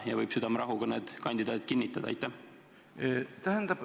Ja kas need kandidaadid võib südamerahuga kinnitada?